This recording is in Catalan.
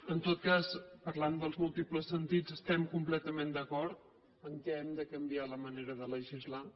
en tot cas parlant dels múltiples sentits estem completament d’acord que hem de canviar la manera de legislar